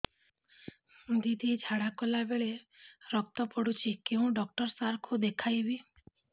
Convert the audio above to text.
ଦିଦି ଝାଡ଼ା କଲା ବେଳେ ରକ୍ତ ପଡୁଛି କଉଁ ଡକ୍ଟର ସାର କୁ ଦଖାଇବି